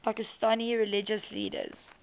pakistani religious leaders